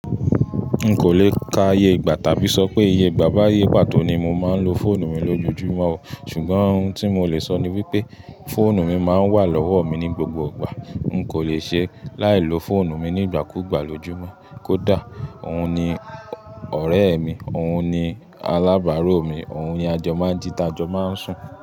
N kò le ka iye ìgbà tàbí sọ pé iye ìgbà bá iye pàtó ni mo máa ń lo fóònù mi ló joojúmọ́ o, ṣùgbọ́n ohun tí mo lè sọ ni wípé fóònù mi máa ń wà lọ́wọ́ mi ní gbogbo ìgbà. N kò le ṣe láì lo fóònù mi nígbàkúùgbà lójúmọ́. Kódà òun ni ọ̀rẹ́ mi, òun ni alábàárò mi, òun ni ajò máa n jí taajò máa ń sùn.